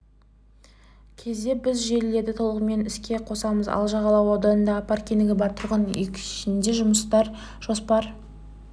кезде біз желілерді толығымен іске қосамыз ал жағалау ауданындағы паркингі бар тұрғын-үй кешенінде жұмыстар жоспар